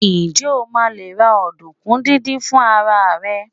njé o ma le ra ọdunkun didin fún ara rẹ